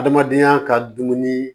Adamadenya ka dumuni